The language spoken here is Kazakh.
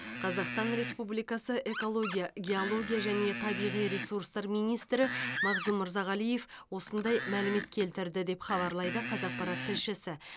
қазақстан республикасы экология геология және табиғи ресурстар министрі мағзұм мырзағалиев осындай мәлімет келтірді деп хабарлайды қазақпарат тілшісі